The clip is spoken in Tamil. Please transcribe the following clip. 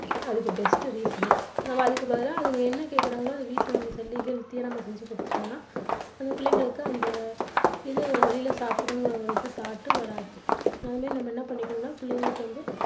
அதுக்கு best reason னே நம்ப அதுக்கு பதிலா அவங்க என்ன கேக்குறாங்களோ அதை வீட்டில நம்ம செஞ்சு கொடுத்துட்டோம்னா நம்ம பிள்ளைகளுக்கு அந்த இது வெளியில சாப்பிடணும்கிற ஒரு இது thought உ வராது.